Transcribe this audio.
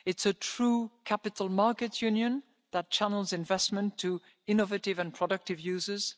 scheme it's a true capital markets union that channels investment to innovative and productive